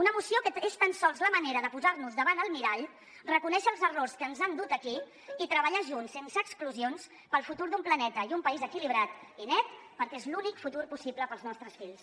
una moció que és tan sols la manera de posar nos davant el mirall reconèixer els errors que ens han dut aquí i treballar junts sense exclusions pel futur d’un planeta i un país equilibrat i net perquè és l’únic futur possible per als nostres fills